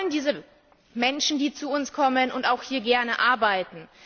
Wir wollen diese Menschen, die zu uns kommen und auch hier gerne arbeiten.